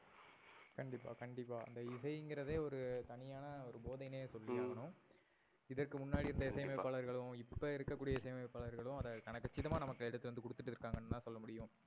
கண்டிப்பா கண்டிப்பா. இந்த இசைங்குறதே ஒரு தனியான போதைனே சொல்லி ஆகணும். ஹம் இதற்கு முன்னாடி. கண்டிப்பா. இருந்த இசை அமைப்பாளர்களும், இப்ப இருக்க கூடிய இசை அமைப்பாளர்களும் அத கன கட்சிதமா நமக்கு எடுத்து வந்து குடுத்துட்டு இருக்கங்கனு தான் சொல்ல முடியும்.